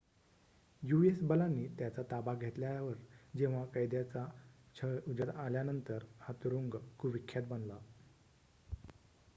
US बलांनी त्याचा ताबा घेतल्यावर जेव्हा कैद्यांचा छळ उजेडात आल्यानंतर हा तुरुंग कुविख्यात बनला